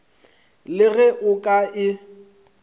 le ge o ka e